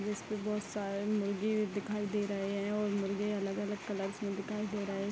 जिस पर बहुत सारे मुर्गी भी दिखाई दे रहे हैं और मुर्गी अलग-अलग कलर में दिखाई दे रहे हैं।